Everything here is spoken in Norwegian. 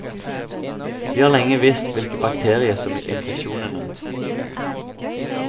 Vi har lenge visst hvilken bakterie som gir infeksjonene.